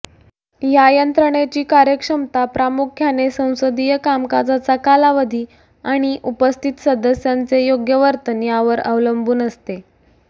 या यंत्रणेची कार्यक्षमता प्रामुख्याने संसदीय कामकाजाचा कालावधी आणि उपस्थित सदस्यांचे योग्य वर्तन यांवर अवलंबून असते